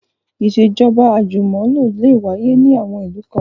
Ìṣèjọ́ba àjùmọ̀lò lè wáyé ní àwọn ìlú kan